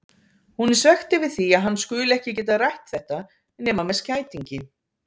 Hún er svekkt yfir því að hann skuli ekki geta rætt þetta nema með skætingi.